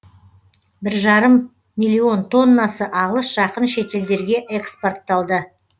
бір жарым миллион тоннасы алыс жақын шетелдерге экспортталды